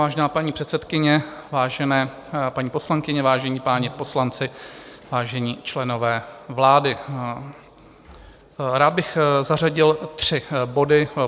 Vážená paní předsedkyně, vážené paní poslankyně, vážení páni poslanci, vážení členové vlády, rád bych zařadil tři body.